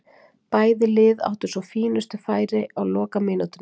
Bæði lið áttu svo fínustu færi á lokamínútunni.